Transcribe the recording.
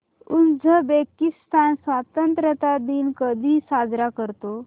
Uzbekistan स्वतंत्रता दिन कधी साजरा करतो